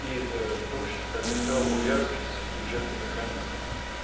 и в том числе как я сказал в увязке с бюджетом механизмами